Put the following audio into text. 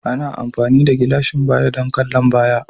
Ana amfani da gilashin baya don kallon baya